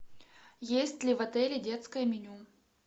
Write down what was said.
есть ли в отеле детское меню